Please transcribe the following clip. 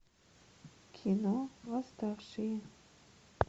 кино восставшие